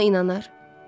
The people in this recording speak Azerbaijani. Kim ona inanar?